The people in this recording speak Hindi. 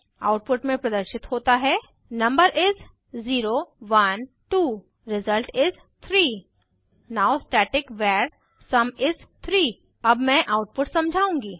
आउटपुट में प्रदर्शित होता है number is 0 1 2 result is 3 now static var sum is 3 अब मैं आउटपुट समझाउंगी